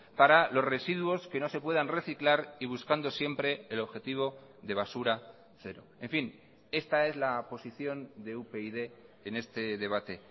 para los residuos que no se puedan reciclar y buscando siempre el objetivo de basura cero en fin esta es la posición de upyd en este debate